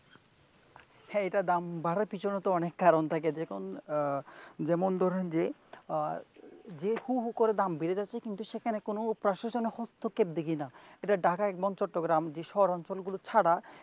হ্যাঁ এটার দাম বাড়ার পিছনে তো অনেক কারন থাকে তো, যেমন ধরেন যে আহ যে হু হু করে দাম বেড়ে যাচ্ছে কিন্তু সেখানে কোন প্রশাসনের হস্তক্ষেপের দেখি না এটা ঢাকা এবং চট্টগ্রাম শহর অঞ্চলগুলো ছাড়া,